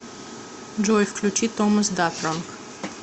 джой включи томас датронг